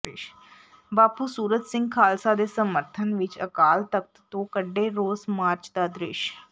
ਬਾਪੂ ਸੂਰਤ ਸਿੰਘ ਖਾਲਸਾ ਦੇ ਸਮਰਥਨ ਵਿੱਚ ਅਕਾਲ ਤਖ਼ਤ ਤੋਂ ਕੱਢੇ ਰੋਸ ਮਾਰਚ ਦਾ ਦ੍ਰਿਸ਼